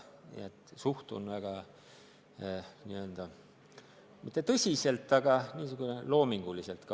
Nii et ma ei suhtu asjasse väga tõsiselt, võtan liikumist loominguliselt.